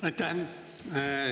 Aitäh!